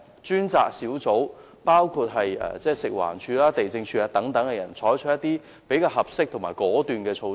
專責小組可由食環署、地政總署等人員組成，並採取合適及果斷的措施。